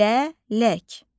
Lələk.